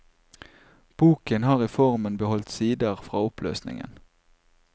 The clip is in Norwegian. Boken har i formen beholdt sider fra oppløsningen.